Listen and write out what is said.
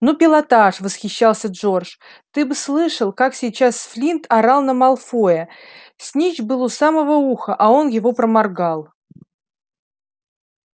ну пилотаж восхищался джордж ты бы слышал как сейчас флинт орал на малфоя снитч был у самого уха а он его проморгал